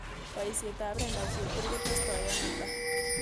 Boisietap brenda chepkirui kotestoi ano taa